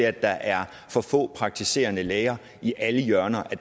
at der er for få praktiserende læger i alle hjørner af